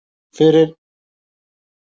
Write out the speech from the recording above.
Fyrir framan allt þetta fólk.